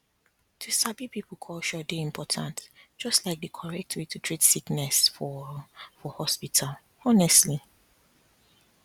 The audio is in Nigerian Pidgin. to sabi people culture dey important just like di correct way to treat sickness for for hospital honestly